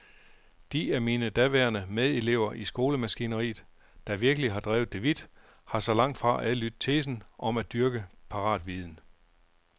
De af mine daværende medelever i skolemaskineriet, der virkelig har drevet det vidt, har så langtfra adlydt tesen om at dyrke paratviden.